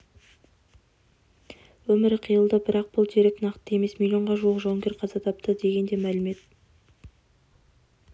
өмірі қиылды бірақ бұл дерек нақты емес миллионға жуық жауынгер қаза тапты деген де мәлімет